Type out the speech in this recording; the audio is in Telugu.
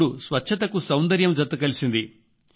ఇప్పుడు స్వచ్ఛతకు సౌందర్యం జత కలిసింది